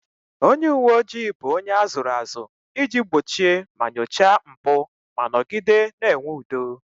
Onye uwe ojii bụ onye a zụrụ azụ iji gbochie ma nyochaa mpụ ma nọgide na-enwe udo